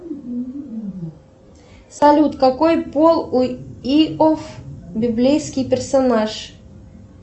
салют какой пол у иов библейский персонаж